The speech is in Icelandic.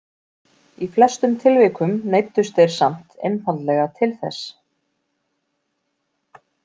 Í flestum tilvikum neyddust þeir samt einfaldlega til þess.